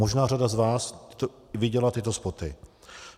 Možná řada z vás viděla tyto spoty.